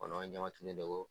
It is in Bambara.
Kɔnɔ de ko